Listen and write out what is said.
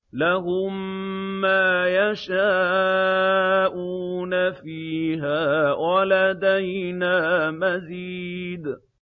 لَهُم مَّا يَشَاءُونَ فِيهَا وَلَدَيْنَا مَزِيدٌ